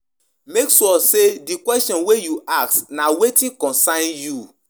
Religious leaders de cheach about wetin de goo or bad with Bible or Quran